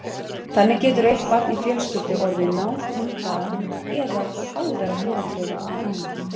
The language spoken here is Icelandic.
Þannig getur eitt barn í fjölskyldu orðið nátengdara eða háðara foreldrum en annað.